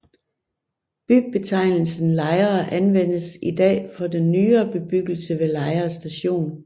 Bybetegnelsen Lejre anvendes i dag for den nyere bebyggelse ved Lejre Station